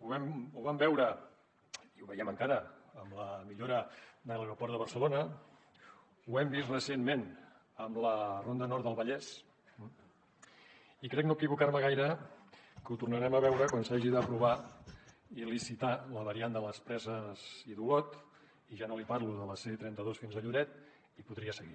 ho vam veure i ho veiem encara amb la millora de l’aeroport de barcelona ho hem vist recentment amb la ronda nord del vallès i crec no equivocar me gaire que ho tornarem a veure quan s’hagi d’aprovar i licitar la variant de les preses i d’olot i ja no li parlo de la c trenta dos fins a lloret i podria seguir